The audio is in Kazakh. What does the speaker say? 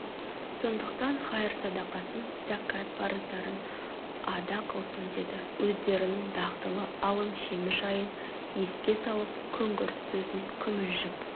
сондықтан хайыр-садақасын зәкат парыздарын ада қылсын деді өздерінің дағдылы алым-жемі жайын еске салып күңгірт сөзін күмілжіп